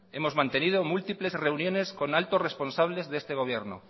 hemos mantenido múltiples reuniones con altos responsables de este gobierno